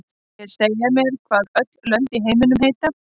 Viljið þið segja mér hvað öll lönd í heiminum heita?